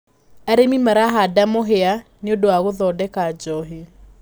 Arĩmi marahanda mũhia nĩũndu wa gũthondeka njohi.